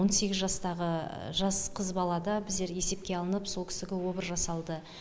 он сегіз жастағы жас қыз балада біздер есепке алынып сол кісіге обыр жасалды